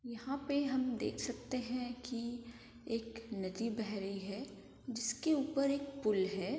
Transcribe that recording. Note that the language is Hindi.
यहाँ पे हम देख सकते हैं की एक नदी बह रही है जिसके ऊपर एक पुल है।